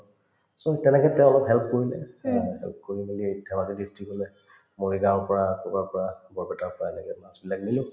so, তেনেকে তেওঁ অলপ help কৰিলে তেওঁ help কৰি মিলি এই ধেমাজী district মৰিগাওঁৰ পৰা কৰবাৰ পৰা বৰপেটাৰ পৰা এনেকে মাছবিলাক